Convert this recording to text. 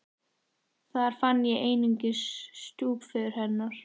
Þar fann ég einungis stjúpföður hennar.